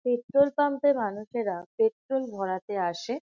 Petrol pump -এ মানুষেরা petrol ভরাতে আসে।